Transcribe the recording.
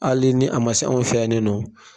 Hali ni a ma s'anw fɛ yan nin nɔn